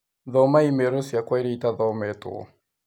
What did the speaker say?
Thoma i-mīrūciakwa ĩrĩa itathometũo